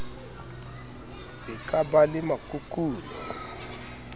e ka ba le makukuno